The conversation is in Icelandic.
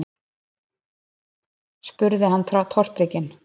spurði hann tortrygginn.